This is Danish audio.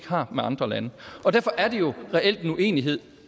har med andre lande derfor er det jo reelt en uenighed